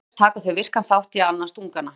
Auk þess taka þau virkan þátt í að annast ungana.